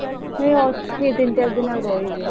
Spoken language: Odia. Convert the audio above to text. ମୁଁ ଏଇ ଅଛି ଆଉ ତିନି ଚାର ଦିନ ଆଉ ରହିବି।